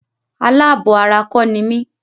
Alábọ̀ ara kọ́ ni mí.